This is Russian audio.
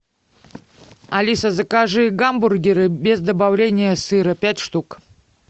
алиса закажи гамбургеры без добавления сыра пять штук